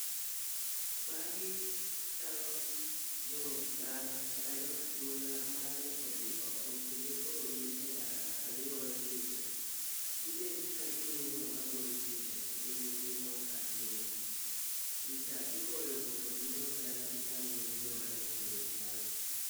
Magi chalo jodala kata jo anyuola mane mane odhi oko kendo koro gin e ndara ka gigoyo picha. Gibet ka ging'iyo ng'ama gogi picha kendo gin g imor ahinya. Picha igoyo mondo gidog dala gitang'ne joma ne odong' dala.